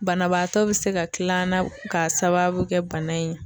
Banabaatɔ be se ka kil'an k'a sababu kɛ bana in ye